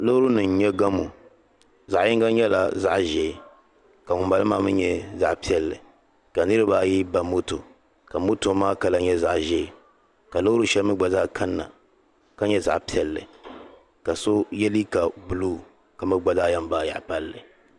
Loorinima n nyɛ gamo zaɣi yinga nyɛla zaɣ'ʒee ka ŋuni bala maa mi nyɛ zaɣ'piɛlli ka niriba ayi ba moto ka moto maa kala nyɛ zaɣ'ʒee ka loori shɛli mi gba zaa kanna ka nyɛ zaɣ'piɛlli ka so ye liiga buluu ka gba zaa yen baai yaɣi palli.